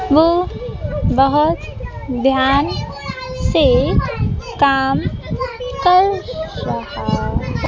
वो बहुत ध्यान से काम कर रहा।